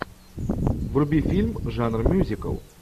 вруби фильм жанра мюзикл